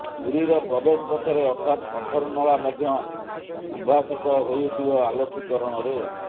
ପୁରୀର ପ୍ରବେଶପଥରେ ଅର୍ଥାତ ଅଠରନଳା ମଧ୍ୟ ଉଦ୍ଭାସିତ ହୋଇଉଠିବ ଆଲୋକୀକରଣରେ